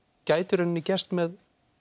gæti gerst með